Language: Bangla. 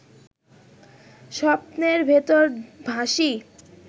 স্বপ্নের ভেতরে ভাসি